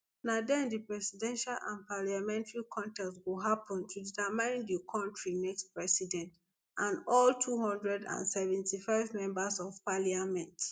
na den di presidential and parliamentary contests go happun to determine di kontri next president and all two hundred and seventy-five members of parliament